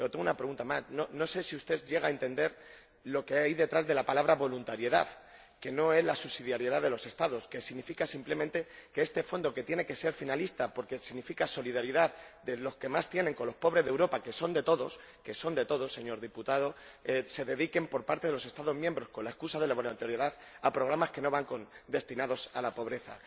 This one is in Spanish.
Pero tengo una pregunta más no sé si usted llega a entender lo que hay detrás de la palabra voluntariedad, que no es la subsidiariedad de los Estados, ya que significa simplemente que este Fondo, que tiene que ser finalista porque significa solidaridad de los que más tienen con los pobres de Europa, que son de todos, señor diputado se dedique, por parte de los Estados miembros, con la excusa de la voluntariedad, a programas que no van destinados a la pobreza.